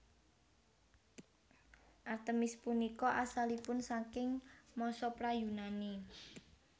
Artemis punika asalipun saking masa pra Yunani